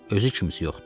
Özü kimisi yoxdur.